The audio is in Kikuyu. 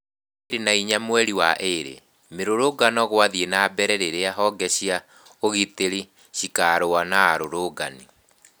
Mweri mĩrongo ĩĩrĩ na ĩna mweri wa ĩre- Mirũrũngano gũathiĩ na mbere rĩrĩa honge cia ũgitĩri cikerũa na arũrũngano.